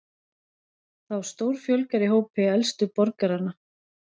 Þá stórfjölgar í hópi elstu borgaranna